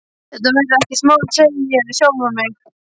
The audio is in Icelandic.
Þetta verður ekkert mál, segi ég við sjálfan mig.